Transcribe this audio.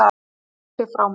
Hún sleit sig frá mér.